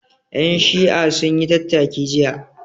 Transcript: Ƴan Shi'a sun yi tattaki jiya